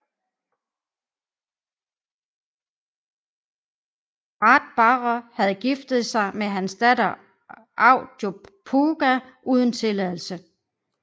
Ráðbarðr havde giftet sig med hans datter Aud Djupauga uden tilladelse